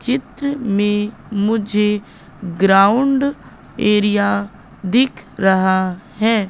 चित्र में मुझे ग्राउंड एरिया दिख रहा है।